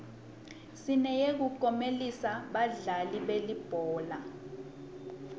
sineyekuklomelisa badlali belibhola